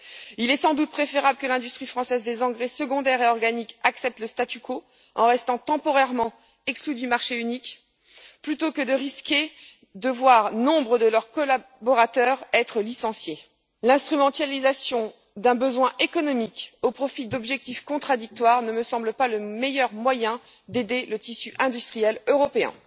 Il est sans doute préférable que l'industrie française des engrais secondaires et organiques accepte le statu quo en restant temporairement exclue du marché unique, plutôt que de risquer de voir nombre de ses collaborateurs être licenciés. L'instrumentalisation d'un besoin économique au profit d'objectifs contradictoires ne me semble pas le meilleur moyen d'aider le tissu industriel européen.